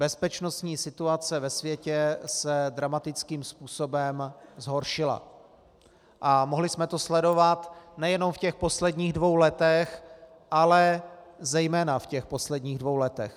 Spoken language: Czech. Bezpečnostní situace ve světě se dramatickým způsobem zhoršila a mohli jsme to sledovat nejenom v těch posledních dvou letech, ale zejména v těch posledních dvou letech.